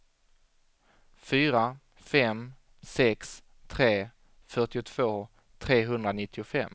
fyra fem sex tre fyrtiotvå trehundranittiofem